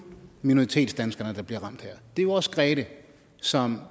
minoritetsdanskerne der bliver ramt her det er jo også grethe som